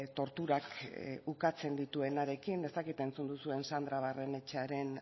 torturak ukatzen dituenarekin ez dakit entzun duzuen sandra barrenetxearen